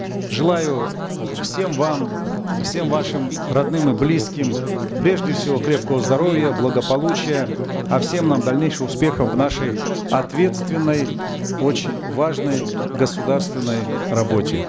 желаю всем вам всем вашим родным и близким прежде всего крепкого здоровья благополучия а всем нам дальнейших успехов в нашей ответственной очень важной государственной работе